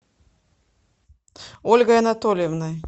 ольгой анатольевной